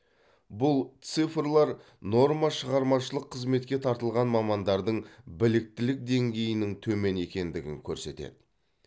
бұл цифрлар нормашығармашылық қызметке тартылған мамандардың біліктілік деңгейінің төмен екендігін көрсетеді